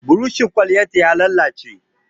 Burushin Kwalliyan ta ya lalace.